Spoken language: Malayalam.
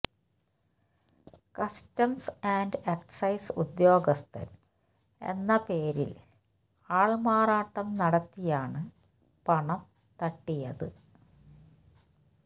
കസ്റ്റംസ് ആൻഡ് എക്സൈസ് ഉദ്യോഗസ്ഥൻ എന്ന പേരിൽ ആൾമാറാട്ടം നടത്തിയാണ് പണം തട്ടിയത്